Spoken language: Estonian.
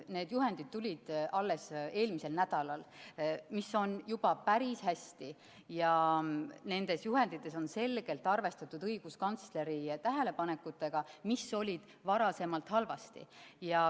Need juhendid tulid alles eelmisel nädalal – mis on juba päris hästi, ja nendes juhendites on selgelt arvestatud õiguskantsleri tähelepanekutega selle kohta, mis oli varem halvasti.